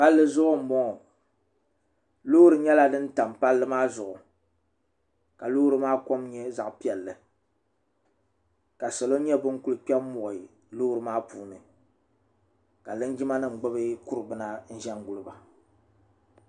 palli zuɣu n bɔŋɔ loori nyɛla din tam palli maa zuɣu ka loori maa kɔm nyɛ zaɣ piɛlli ka salɔ nyɛ bin ku kpɛ n muɣi Loori maa puuni ka linjima nim gbubi kuri bina n ʒɛ n guliba